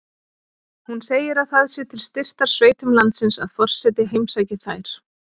Hún segir að það sé til styrktar sveitum landsins að forseti heimsæki þær.